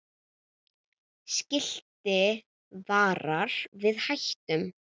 Skilti varar við hættum.